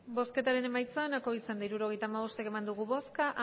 hirurogeita hamabost eman dugu bozka